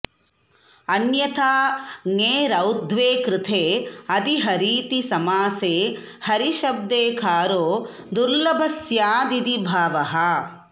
अन्यथा ङेरौत्त्वे कृते अधिहरीति समासे हरिशब्देकारो दुर्लभः स्यादिति भावः